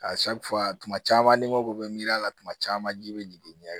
tuma caman n'i mago bɛ miiri la kuma caman ji bɛ jigin